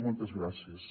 moltes gràcies